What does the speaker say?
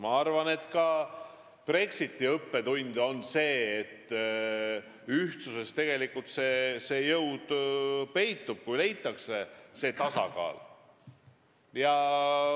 Ma arvan, et ka Brexiti õppetund on see, et ühtsuses peitub tegelikult jõud, kui leitakse tasakaal.